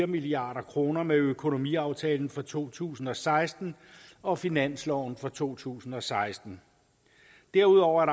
milliard kroner med økonomiaftalen for to tusind og seksten og finansloven for to tusind og seksten derudover er